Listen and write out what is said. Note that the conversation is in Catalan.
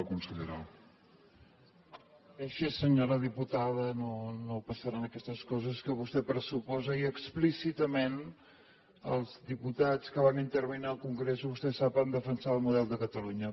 això senyora diputada no passaran aquestes coses que vostè pressuposa i explícitament els diputats que van intervindre en el congrés vostè ho sap van defensar el model de catalunya